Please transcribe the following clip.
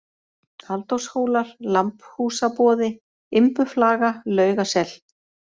Halldórshólar, Lambhúsaboði, Imbuflaga, Laugasel